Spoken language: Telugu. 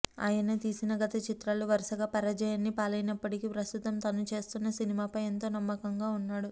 ఆయన తీసిన గత చిత్రాలు వరుసగా పరజయాన్ని పాలైనప్పటికీ ప్రస్తుతం తను చేస్తున్న సినిమాపై ఎంతో నమ్మకంగా ఉన్నాడు